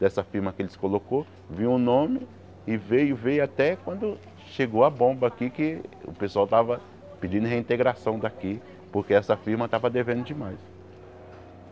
Dessa firma que eles colocaram, veio o nome e veio, veio veio até quando chegou a bomba aqui que o pessoal estava pedindo reintegração daqui porque essa firma estava devendo demais.